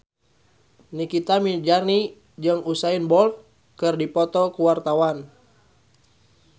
Nikita Mirzani jeung Usain Bolt keur dipoto ku wartawan